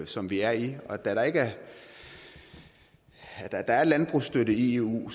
som vi er i og da der er landbrugsstøtte i eu